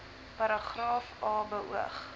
paragraaf a beoog